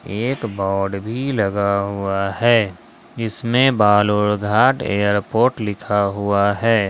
एक बोर्ड भी लगा हुआ है इसमें बालूरघाट एयरपोर्ट लिखा हुआ है।